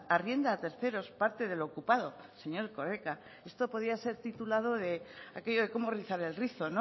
arrienda a terceros parte de lo ocupado señor erkoreka esto podía ser titulado de aquello de cómo rizar el rizo o